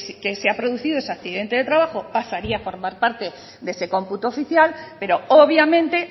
que se ha producido ese accidente de trabajo pasaría a formar parte de ese cómputo oficial pero obviamente